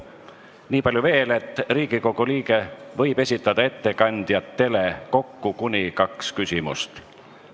Nii palju veel, et iga Riigikogu liige võib esitada ettekandjatele kokku kuni kaks küsimust.